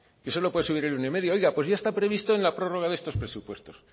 que solo puede subir el uno coma cinco oiga pues ya está previsto en la prórroga de estos presupuestos